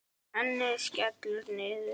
Ennið skellur niður.